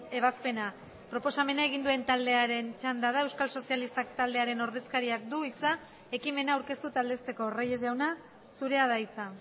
ebazpena proposamena egin duen taldearen txanda da euskal sozialistak taldearen ordezkariak du hitza ekimena aurkeztu eta aldezteko reyes jauna zurea da hitza